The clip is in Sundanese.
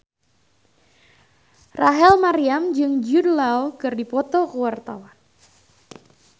Rachel Maryam jeung Jude Law keur dipoto ku wartawan